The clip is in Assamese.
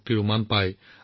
তেওঁলোকক অভিনন্দন জনাওক